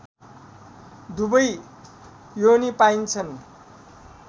दुवै योनी पाइन्छन्